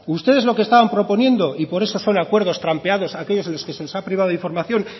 ustedes lo que están proponiendo y por eso son acuerdos trampeados aquellos en los que se nos ha privado de información